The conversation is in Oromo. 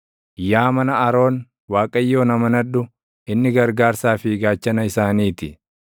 Yaa mana Aroon, Waaqayyoon amanadhu; inni gargaarsaa fi gaachana isaanii ti.